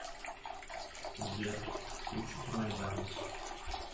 сбер включите майдан